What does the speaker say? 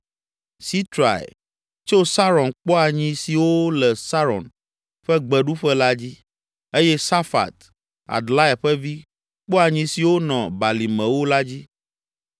Sitrai, tso Saron kpɔa nyi siwo le Saron ƒe gbeɖuƒe la dzi eye Safat, Adlai ƒe vi, kpɔa nyi siwo nɔ balimewo la dzi.